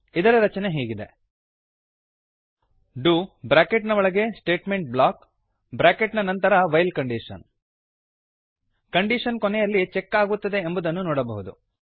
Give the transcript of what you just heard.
ಇದರ ರಚನೆ ಹೀಗಿದೆ ಡು ಬ್ರಾಕೆಟ್ ನ ಒಳಗೆ ಸ್ಟೇಟ್ಮೆಂಟ್ ಬ್ಲಾಕ್ ಬ್ರಾಕೆಟ್ ನ ನಂತರ ವೈಲ್ ಕಂಡೀಶನ್ ಕಂಡೀಶನ್ ಕೊನೆಯಲ್ಲಿ ಚೆಕ್ ಆಗುತ್ತದೆ ಎಂಬುದನ್ನು ನೋಡಬಹುದು